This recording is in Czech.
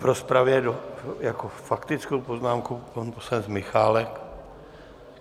V rozpravě s faktickou poznámkou pan poslanec Michálek.